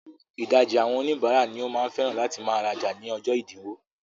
Ìdajì àwọn oníbàárà ni ó máa ń fẹ́ràn láti máa rajà ní ọjọ́ ẹ̀dínwó.